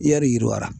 I yali yiriwa